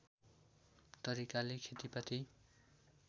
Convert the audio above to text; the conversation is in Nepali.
तरिकाले खेतिपाती